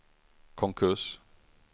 konkurs